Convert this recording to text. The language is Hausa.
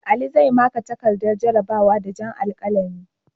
Ali zai maƙa takardar jarrabawa da jan alkalami.